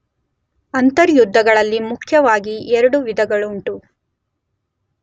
ಅಂತರ್ಯುದ್ಧಗಳಲ್ಲಿ ಮುಖ್ಯವಾಗಿ ಎರಡು ವಿಧಗಳುಂಟು.